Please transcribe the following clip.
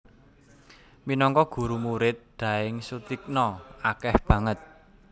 Minangka guru Murid Daeng Soetigna akeh banget